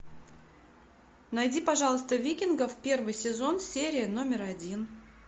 найди пожалуйста викингов первый сезон серия номер один